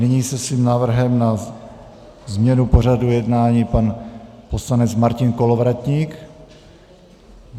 Nyní se svým návrhem na změnu pořadu jednání pan poslanec Martin Kolovratník.